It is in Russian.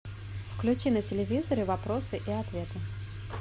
включи на телевизоре вопросы и ответы